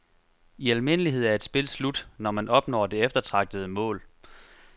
I almindelighed er et spil slut, når man opnår det eftertragtede mål.